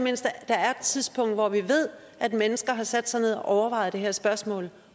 tidspunkt hvor vi ved at mennesker har sat sig ned og overvejet det her spørgsmål